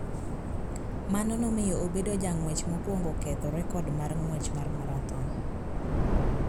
Mano nomiyo obedo jang'wech mokwongo ketho rekod mar ng'wech mar marathon.